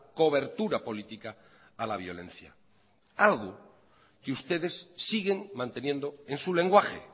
cobertura política a la violencia algo que ustedes siguen manteniendo en su lenguaje